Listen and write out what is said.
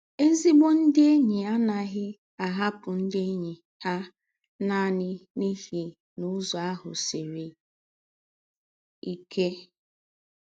Ézígbò ndị̀ ényí á naghị̀ ahàpụ̀ ndị̀ ényí hà nánị̀ n’íhí na Ụ́zọ̀ áhụ̀ sìrí íké.